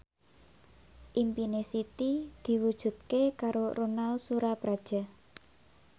impine Siti diwujudke karo Ronal Surapradja